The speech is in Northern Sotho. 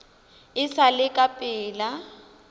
e sa le ka pela